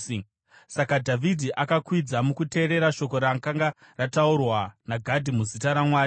Saka Dhavhidhi akakwidza mukuteerera shoko rakanga rataurwa naGadhi muzita raJehovha.